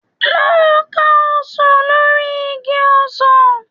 Lọ ka ọsàn lórí igi ọsàn.